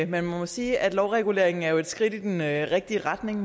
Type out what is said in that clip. man må jo sige at lovreguleringen er et skridt i den rigtige retning